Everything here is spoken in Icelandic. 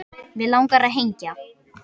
Mig langar að hengja